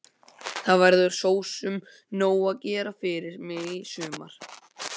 Það verður sosum nóg að gera fyrir mig í sumar.